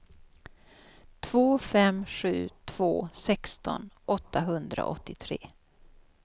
två fem sju två sexton åttahundraåttiotre